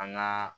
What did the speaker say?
An ŋaa